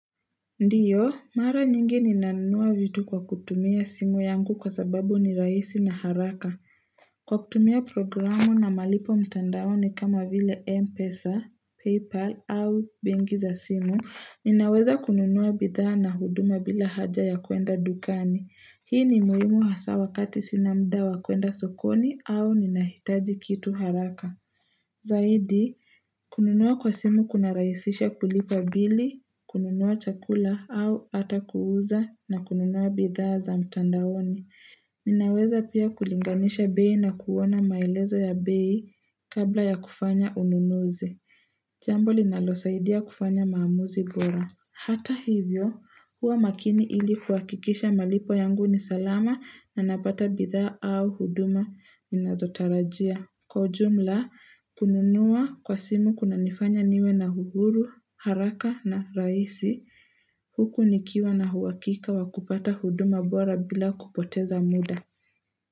Ndiyo, mara nyingi ninanua vitu kwa kutumia simu yangu kwa sababu ni raisi na haraka. Kwa kutumia programu na malipo mtandaoni kama vile Mpesa, Paypal au benki za simu, ninaweza kununua bidhaa na huduma bila haja ya kuenda dukani. Hii ni muhimu hasa wakati sina mda wa kuenda sokoni au ninahitaji kitu haraka. Zaidi, kununua kwa simu kuna rahisisha kulipa bili, kununua chakula au hata kuuza na kununua bidhaa za mtandaoni. Ninaweza pia kulinganisha bei na kuona maelezo ya bei kabla ya kufanya ununuzi. Jambo linalosaidia kufanya maamuzi bora. Hata hivyo, huwa makini ili kuakikisha malipo yangu ni salama na napata bidhaa au huduma ninazotarajia. Kwa ujumla, kununuwa kwa simu kunanifanya niwe na uhuru, haraka na raisi, huku nikiwa na huwakika wa kupata huduma bora bila kupoteza muda.